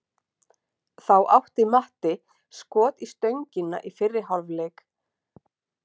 Þá átti Matti skot í stöngina í fyrri hálfleik.